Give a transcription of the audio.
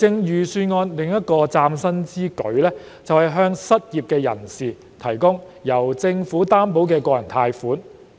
預算案另一項嶄新之舉，是向失業人士提供由政府擔保的個人貸款。